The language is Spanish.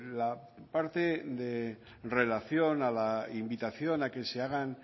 la parte de relación a la invitación a que se hagan